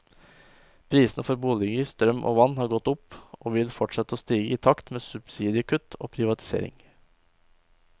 Prisene for boliger, strøm og vann har gått opp, og vil fortsette å stige i takt med subsidiekutt og privatisering.